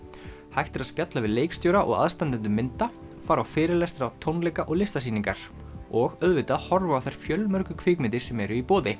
hægt er að spjalla við leikstjóra og aðstandendur mynda fara á fyrirlestra tónleika og listasýningar og auðvitað horfa á þær fjölmörgu kvikmyndir sem eru í boði